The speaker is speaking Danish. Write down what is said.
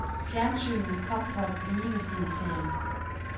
Fjernsynet kom for at blive, hed serien.